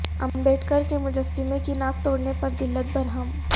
امبیڈکر کے مجسمہ کی ناک توڑنے پر دلت برہم